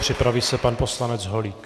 Připraví se pan poslanec Holík.